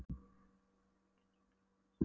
Hún bauð mér að gerast meðleigjandi sinn.